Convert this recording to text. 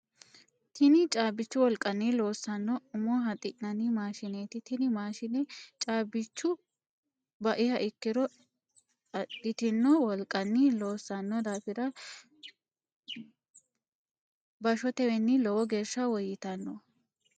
Tinni caabichu wolqanni loosano umo haxi'nanni maashineeti tinni maashine caabichu ba'iha ikiro adhitino wolqanni loosano daafira bashotewiinni lowo geesha woyitanno.